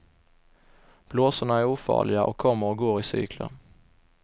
Blåsorna är ofarliga och kommer och går i cykler.